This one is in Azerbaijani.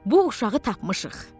Bu uşağı tapmışıq.